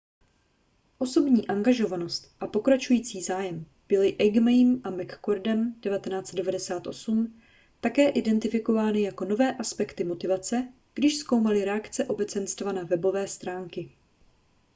osobní angažovanost a pokračující zájem byly eighmeym a mccordem 1998 také identifikovány jako nové aspekty motivace když zkoumali reakce obecenstva na webové stránky